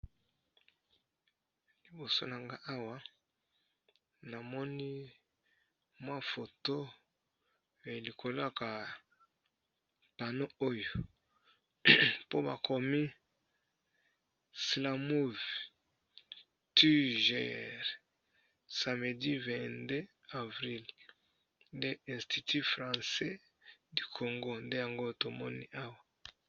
Liboso nanga awa namoni mwa foto elikolo ya ka pano oyo, po ba komi slamouv tiger samedi 22 avril nde institut francais du congo nde yango tomoni awa.